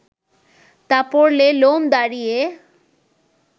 তা পড়লে লোম দাঁড়িয়ে